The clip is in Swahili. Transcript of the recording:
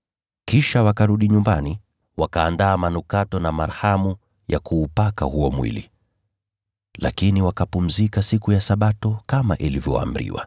Kisha wakarudi nyumbani, wakaandaa manukato na marhamu ya kuupaka huo mwili. Lakini wakapumzika siku ya Sabato kama ilivyoamriwa.